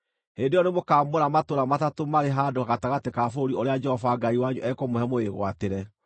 hĩndĩ ĩyo nĩmũkamũra matũũra matatũ marĩ handũ gatagatĩ ka bũrũri ũrĩa Jehova Ngai wanyu ekũmũhe mũwĩgwatĩre.